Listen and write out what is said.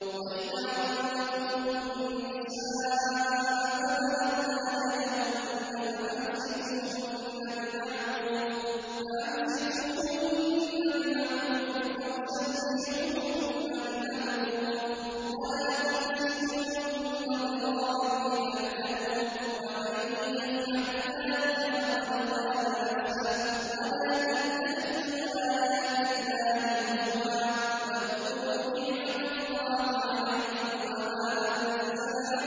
وَإِذَا طَلَّقْتُمُ النِّسَاءَ فَبَلَغْنَ أَجَلَهُنَّ فَأَمْسِكُوهُنَّ بِمَعْرُوفٍ أَوْ سَرِّحُوهُنَّ بِمَعْرُوفٍ ۚ وَلَا تُمْسِكُوهُنَّ ضِرَارًا لِّتَعْتَدُوا ۚ وَمَن يَفْعَلْ ذَٰلِكَ فَقَدْ ظَلَمَ نَفْسَهُ ۚ وَلَا تَتَّخِذُوا آيَاتِ اللَّهِ هُزُوًا ۚ وَاذْكُرُوا نِعْمَتَ اللَّهِ عَلَيْكُمْ وَمَا أَنزَلَ